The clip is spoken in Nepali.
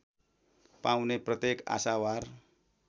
पाउने प्रत्येक आशावार